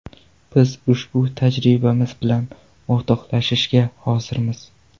Biz ushbu tajribamiz bilan o‘rtoqlashishga hozirmiz.